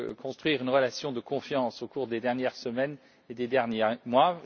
construire une relation de confiance au cours des dernières semaines et des derniers mois.